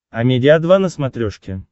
амедиа два на смотрешке